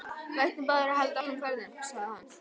Við ættum báðir að halda áfram ferðinni, hugsaði hann.